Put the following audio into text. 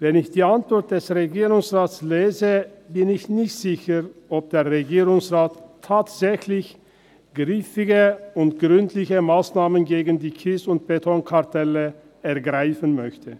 Wenn ich die Antwort des Regierungsrates lese, bin ich nicht sicher, ob der Regierungsrat tatsächlich griffige und gründliche Massnahmen gegen die Kies- und Betonkartelle ergreifen möchte.